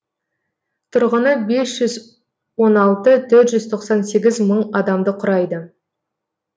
тұрғыны бес жүз он алты төрт жүз тоқсан сегіз мың адамды құрайды